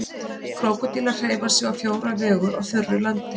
Krókódílar hreyfa sig á fjóra vegu á þurru landi.